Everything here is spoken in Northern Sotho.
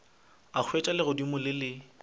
a hwetša legodimo le le